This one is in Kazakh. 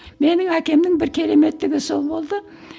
менің әкемнің бір кереметтігі сол болды